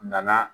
Nana